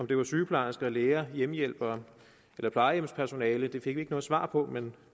det var sygeplejersker læger hjemmehjælpere eller plejehjemspersonale fik vi ikke noget svar på men